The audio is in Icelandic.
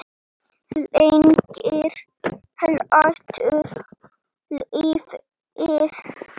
Lengir hlátur lífið?